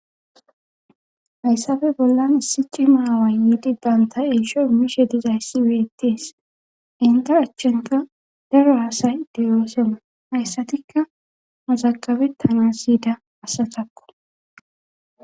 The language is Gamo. Hayssafe bollan issi cci maawa yiidi banta eeshoy miishe dizayssi weyettees inta achchenta daro asay deyoosena hayssatikka mazakabe tana siyida asatakko.